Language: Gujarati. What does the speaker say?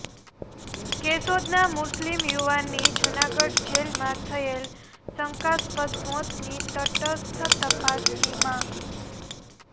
કેશોદના મુસ્લિમ યુવાનની જૂનાગઢ જેલમાં થયેલ શંકાસ્પદ મોતની તટસ્થ તપાસની માંગ